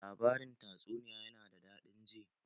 Labarin tatsuniya ya na da daɗin ji